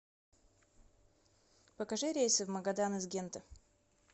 покажи рейсы в магадан из гента